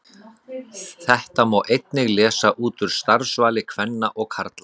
Þetta má einnig lesa út úr starfsvali kvenna og karla.